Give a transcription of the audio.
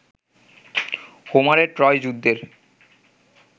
হোমারের Troy যুদ্ধের